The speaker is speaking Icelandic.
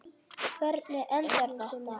Hvernig endar þetta?